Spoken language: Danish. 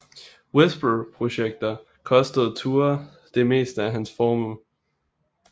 Whisper projekter kostede Thure det meste af hans formue